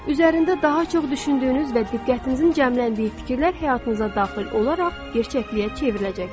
Üzərində daha çox düşündüyünüz və diqqətinizin cəmləndiyi fikirlər həyatınıza daxil olaraq gerçəkliyə çevriləcəkdir.